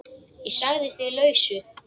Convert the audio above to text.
Ég sagði því lausu.